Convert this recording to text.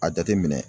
A jateminɛ